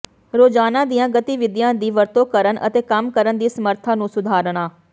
ਰੋਜ਼ਾਨਾ ਦੀਆਂ ਗਤੀਵਿਧੀਆਂ ਦੀ ਵਰਤੋਂ ਕਰਨ ਅਤੇ ਕੰਮ ਕਰਨ ਦੀ ਸਮਰੱਥਾ ਨੂੰ ਸੁਧਾਰਨਾ